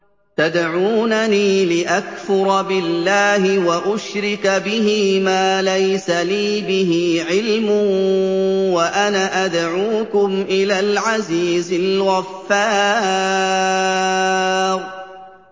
تَدْعُونَنِي لِأَكْفُرَ بِاللَّهِ وَأُشْرِكَ بِهِ مَا لَيْسَ لِي بِهِ عِلْمٌ وَأَنَا أَدْعُوكُمْ إِلَى الْعَزِيزِ الْغَفَّارِ